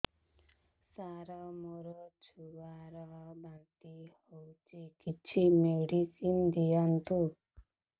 ସାର ମୋର ଛୁଆ ର ବାନ୍ତି ହଉଚି କିଛି ମେଡିସିନ ଦିଅନ୍ତୁ